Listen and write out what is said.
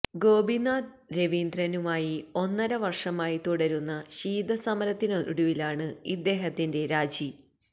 ഗോപിനാഥ് രവീന്ദ്രനുമായി ഒന്നരവർഷമായി തുടരുന്ന ശീത സമരത്തിനൊടുവിലാണ് ഇദ്ദേഹത്തിന്റെ രാജി